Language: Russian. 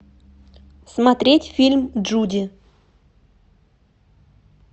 смотреть фильм джуди